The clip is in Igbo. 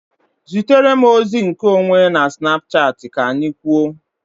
Zitere m ozi nke onwe na Snapchat ka anyị kwuo